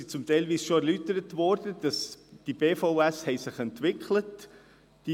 Die Gründe sind bereits erläutert worden, also zum Beispiel, dass sich die BVS entwickelt haben.